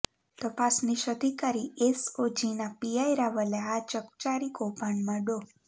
તપાસનીશ અધિકારી એસઓજીના પીઆઈ રાવલે આ ચકચારી કૌભાંડમા ડો